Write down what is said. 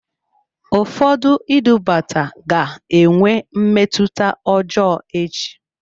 Ụfọdụ idubata ga-enwe mmetụta ọjọọ echi.